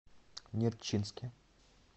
нерчинске